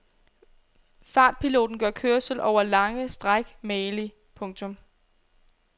Fartpiloten gør kørsel over lange stræk magelig. punktum